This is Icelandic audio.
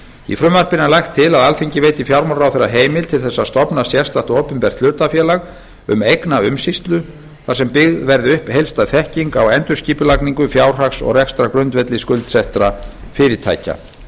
í frumvarpinu er lagt til að alþingi veiti fjármálaráðherra heimild til þess að stofna sérstakt opinbert hlutafélag um eignaumsýslu þar sem byggð verði upp heildstæð þekking á endurskipulagningu fjárhags og rekstrargrundvelli skuldsettra fyrirtækja